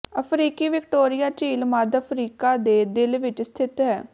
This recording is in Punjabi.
ਅਫ਼ਰੀਕੀ ਵਿਕਟੋਰੀਆ ਝੀਲ ਮੱਧ ਅਫ਼ਰੀਕਾ ਦੇ ਦਿਲ ਵਿੱਚ ਸਥਿਤ ਹੈ